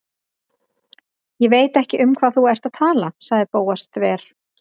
Ég veit ekki um hvað þú ert að tala- sagði Bóas þver